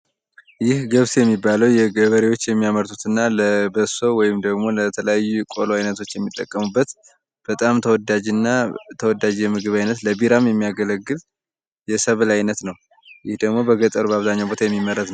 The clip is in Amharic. ይህ ገብስ የሚባለው ገበሬዎች የሚያመርቱ እና ለበሶ ወይም ለተለያዩ ቆሎ አይነቶች የሚጠቀሙት በጣም ተወዳጅና ተወዳጅ የምግብ ዓይነት ለቢራም የሚያገለግል የሰብል አይነት ነው። ይህ ደግሞ በገጠር በአብዛኛው ቦታ የሚመረት ነው።